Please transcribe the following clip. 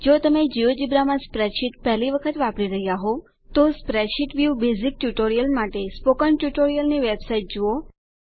જો તમે જિયોજેબ્રા માં સ્પ્રેડશીટ્સ પહેલી વખત વાપરી રહ્યા હોવ તો સ્પ્રેડશીટ વ્યુ બેઝીક ટ્યુટોરીયલ માટે સ્પોકન ટ્યુટોરીયલની વેબ સાઇટ જુઓ